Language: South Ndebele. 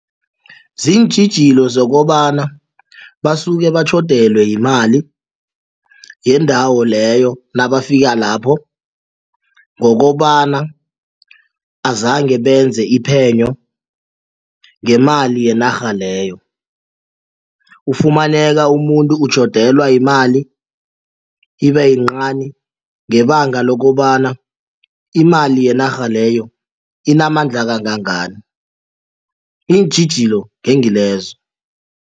Ziintjhijilo zokobana basuke batjhodelwa yimali yendawo leyo nabafika lapho ngokobana azange benze iphenyo ngemali yenarha leyo ufumaneka umuntu utjhodelwa yimali ibe yincani ngebanga lokobana imali yenarha leyo inamandla kangangani iintjhijilo ngengilezo.